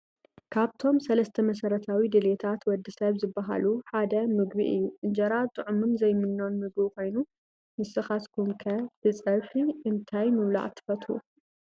ምግቢ፡- ካብቶም 3 መሰረታዊ ድልየታት ወዲ ሰብ ዝባሃሉ ሓደ ምግቢ እዩ፡፡ አንጀራ ጥዑምን ዘይምኖን ምግቢ ኮይኑ ንስኻትኩም ከ ብፀብሒ እንታይ ምብላዕ ትፈትው?